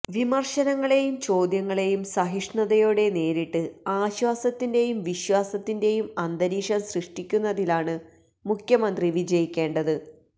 വിമർശനങ്ങളെയും ചോദ്യങ്ങളെയും സഹിഷ്ണുതയോടെ നേരിട്ട് ആശ്വാസത്തിന്റെയും വിശ്വാസത്തിന്റെയും അന്തരീക്ഷം സൃഷ്ടിക്കുന്നതിലാണ് മുഖ്യമന്ത്രി വിജയിക്കേണ്ടത്